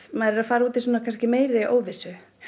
maður er að fara út í meiri óvissu